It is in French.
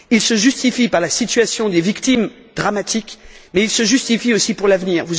Il se justifie par la situation des victimes, dramatique, mais il se justifie aussi pour l'avenir.